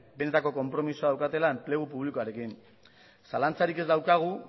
benetako konpromisoa daukatela enplegu publikoarekin zalantzarik ez daukagu